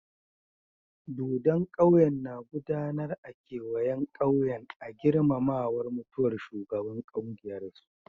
Dodon ƙauyen na gudanar a kewayen ƙauyen a girmamawan mutuwan shugaban kungiyan su.